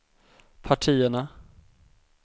partierna